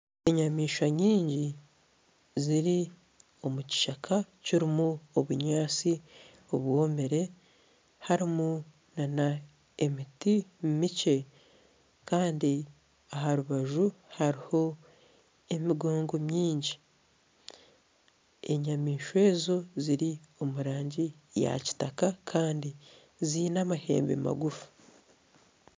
Enyamaishwa nyingi ziri omukishaka kirimu obunyatsi obwomire harimu nana emiti mikye kandi aha rubaju hariho emigongo mingi enyamaishwa ezi ziri omurangi eyakitaka Kandi zaine amahembe magufu